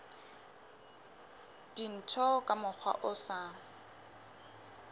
dintho ka mokgwa o sa